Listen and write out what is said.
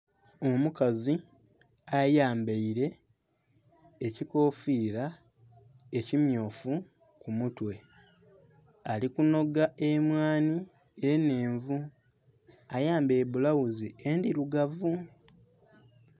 Omukazi ayambaile ekikofiila ekimmyufu ku mutwe. Ali kunhoga emwanhi enhenvu. Ayambaile bulawuzi endhilugavu.